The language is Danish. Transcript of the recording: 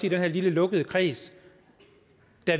i den her lille lukkede kreds